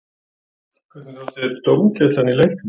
Hvernig þótti þér dómgæslan í leiknum?